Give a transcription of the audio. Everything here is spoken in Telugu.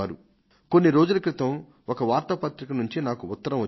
కొద్ది రోజుల క్రితం ఒక వార్తాపత్రిక నాకో ఉత్తరం రాసింది